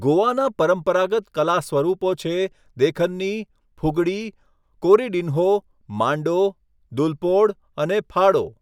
ગોવાના પરંપરાગત કલા સ્વરૂપો છે દેખન્ની, ફુગડી, કોરિડિન્હો, માંડો, દુલપોડ અને ફાડો.